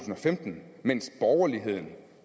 femten mens borgerligheden